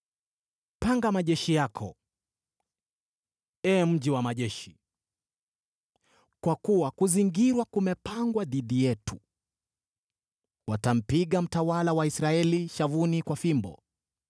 Panga majeshi yako, ee mji wa majeshi, kwa kuwa kuzingirwa kumepangwa dhidi yetu. Watampiga mtawala wa Israeli shavuni kwa fimbo.